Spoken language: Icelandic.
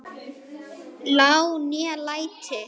lá né læti